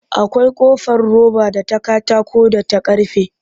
Akwai ƙofar roba da ta katako da ta karfe